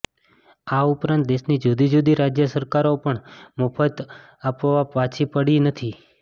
આ ઉપરાંત દેશની જુદી જુદી રાજ્ય સરકારો પણ મફત આપવામાં પાછી પડી નથી